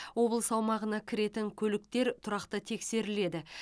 облыс аумағына кіретін көліктер тұрақты тексеріледі